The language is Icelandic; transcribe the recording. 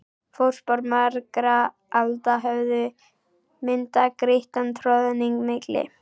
Fótspor margra alda höfðu myndað grýttan troðning milli